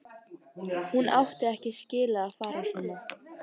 Hún átti ekki skilið að fara svona.